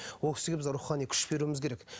ол кісіге біз рухани күш беруіміз керек